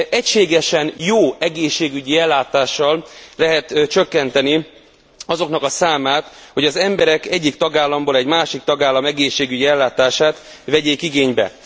egységesen jó egészségügyi ellátással lehet csökkenteni azoknak a számát, hogy az emberek egyik tagállamból egy másik tagállam egészségügyi ellátását vegyék igénybe.